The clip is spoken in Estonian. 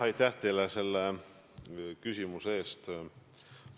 Aitäh teile selle küsimuse eest!